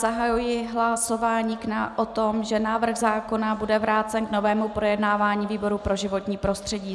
Zahajuji hlasování o tom, že návrh zákona bude vrácen k novému projednávání výboru pro životní prostředí.